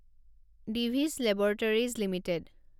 device laboratories limited